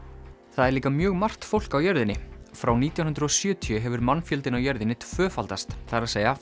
það eru líka mjög margt fólk á jörðinni frá nítján hundruð og sjötíu hefur mannfjöldinn á jörðinni tvöfaldast það er